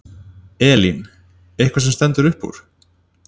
Elín: Eitthvað sem stendur upp úr?